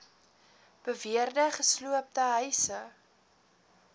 beweerde gesloopte huise